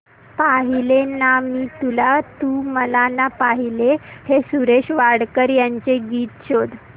पाहिले ना मी तुला तू मला ना पाहिले हे सुरेश वाडकर यांचे गीत शोध